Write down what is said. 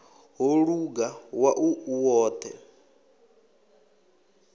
ho luga wau u woṱhe